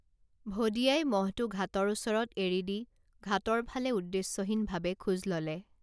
ভদিয়াই মহটো ঘাটৰ ওচৰত এৰিদি ঘাটৰ ফালে উদ্দেশ্যহীনভাবে খোজ ললে